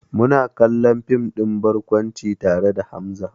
Muna kallon fim ɗin barkwanci tare da Hamza.